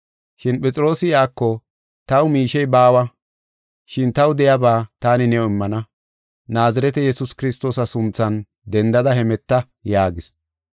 Shin Phexroosi iyako, “Taw miishey baawa, shin taw de7iyaba taani new immana. Naazirete Yesuus Kiristoosa sunthan dendada hemeta” yaagis.